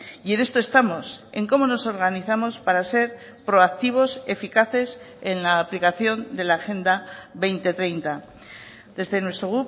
y en esto estamos en cómo nos organizamos para ser proactivos eficaces en la aplicación de la agenda dos mil treinta desde nuestro